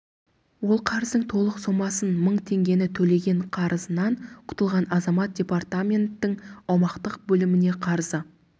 ол қарыздың толық сомасын мың теңгені төлеген қарызынан құтылған азамат департаменттің аумақтық бөліміне қарызы